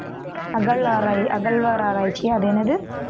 அகழ்வாரா~ அகழ்வாராய்ச்சி அது என்னது